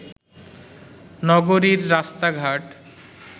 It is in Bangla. নগরীর রাস্তাঘাট